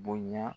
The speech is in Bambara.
Bonya